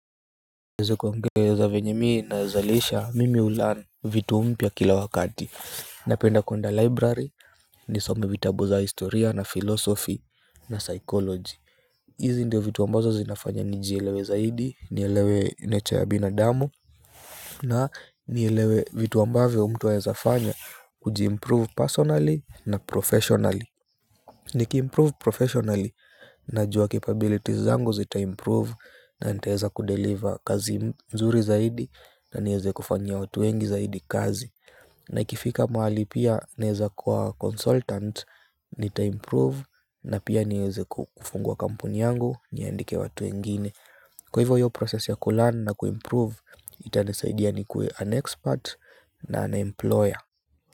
Niweze kuongeza venye mi nazalisha mimi hulearn vitu mpya kila wakati. Napenda kuenda library, nisome vitabu za historia na philosophy na psychology. Hizi ndio vitu ambazo zinafanya nijielewe zaidi, nielewe nature ya binadamu na nielewe vitu ambavyo mtu anaweza fanya kujiimprove personally na professionally. Nikiimprove professionally najua capabilities zangu zitaimprove na nitaweza kudeliver kazi nzuri zaidi na nieze kufanyia watu wengi zaidi kazi na ikifika mahali pia naeza kuwa consultant nitaimprove na pia nieze kufungua kampuni yangu niandike watu wengine. Kwa hivyo hiyo process ya kulearn na kuimprove itanisaidia nikuwe an expert na an employer.